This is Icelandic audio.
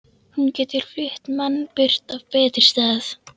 Hún getur flutt mann burt á betri stað.